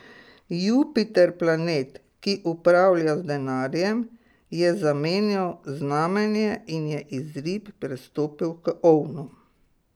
Jupiter planet, ki upravlja z denarjem, je zamenjal znamenje in je iz rib prestopil k ovnom.